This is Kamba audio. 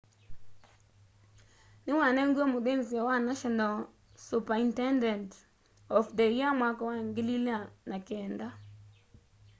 niwanengiwe muthinzio wa national superintendent of the year mwaka wa 2009